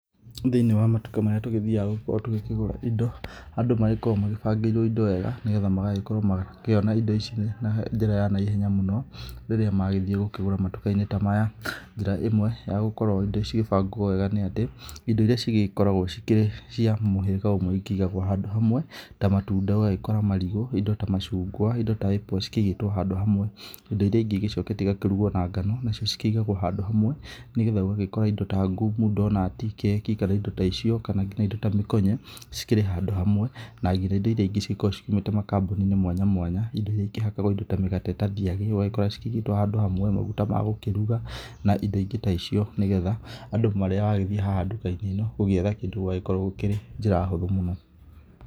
Thĩinĩ wa matuka marĩa tũgĩthiaga gũkorwo tũgĩkĩgũra indo, andũ magĩkoragwo magĩbangĩirwo indo wega nĩ getha makorwo makiona indo ici na njĩra ya naihenya mũno, rĩrĩa magĩthiĩ gũkĩgũra matuka-inĩ ta maya. Njĩra ĩmwe ya gũkorwo indo cigĩbangwo wega nĩ atĩ, indo iria cigĩkoragwo cikĩrĩ cia mũhĩrĩga ũmwe cikĩigagwo handũ hamwe. Ta matunda ũgagĩkora marigu, indo ta macungwa indo ta apples cikĩigĩtwo handũ hamwe. Indo iria ingĩ igĩcokete igakĩrugwo na ngano nacio cikĩigagwo handũ hamwe nĩ getha ũgagĩkora indo ta ngumu, ndonati, keki kana indo ta icio kana indo nginya ta mĩkonye cikĩrĩ handũ hamwe. Na nginya indo iria ingĩ cikoragwo ciumĩte makambuni-inĩ mwanya mwanya indo iria ikĩhakagwo indo ta mĩgate ta thiagĩ ũgagĩkora cikĩigĩtwo handũ hamwe na maguta magũkĩruga kana indo ingi ta icio. Nĩ getha andũ rĩrĩa wagĩthiĩ haha nduka-inĩ ĩno gũgĩetha kĩndũ ũgagĩkora gũkĩrĩ njĩra hũthũ mũno.